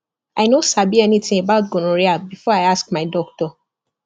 i no sabi anything about gonorrhea before i ask doctor